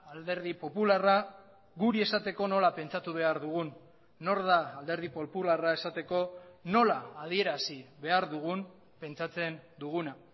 alderdi popularra guri esateko nola pentsatu behar dugun nor da alderdi popularra esateko nola adierazi behar dugun pentsatzen duguna